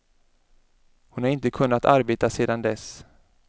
Hon har inte kunnat arbeta sedan dess.